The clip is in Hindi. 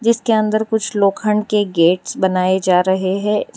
इसके अंदर कुछ लोखंड के गेट्स बनाये जा रहे हैं--